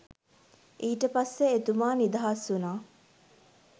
ඊට පස්සේ එතුමා නිදහස් වුණා